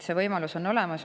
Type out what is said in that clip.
See võimalus on olemas.